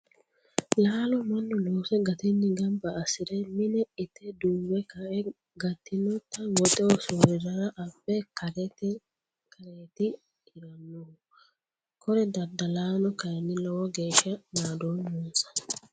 Laalo mannu loose gatinni gamba assire mine ite duuwe kae gatinotta woxeho soorirara abbe kareti hiranohu kore daddalano kayinni lowo geeshsha naadoommonsa.